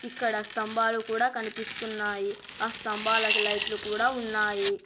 ఇక్కడ స్తంభాలు కూడా కనిపిస్తున్నాయి ఆ స్తంభాలు కు లైట్లు కూడా ఉన్నాయి.